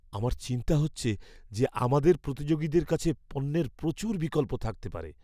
আমার চিন্তা হচ্ছে যে আমাদের প্রতিযোগীদের কাছে পণ্যের প্রচুর বিকল্প থাকতে পারে।